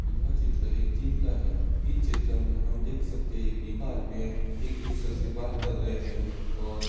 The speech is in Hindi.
यह चित्र एक जिम का है। इस चित्र में हम देख सकते है कि ये आदमी एक दूसरे से बात कर रहे हैं और --